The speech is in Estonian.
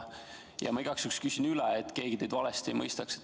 Ma igaks juhuks küsin üle, et keegi teid valesti ei mõistaks.